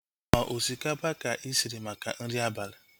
Ọ osikapa ka ị shiri maka nri abalị?